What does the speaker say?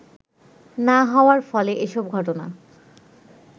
না হওয়ার ফলে এসব ঘটনা